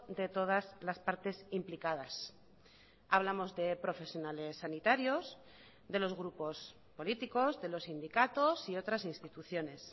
de todas las partes implicadas hablamos de profesionales sanitarios de los grupos políticos de los sindicatos y otras instituciones